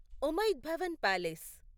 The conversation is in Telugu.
ఉమైద్ భవన్ పాలేస్